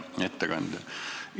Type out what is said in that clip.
Hea ettekandja!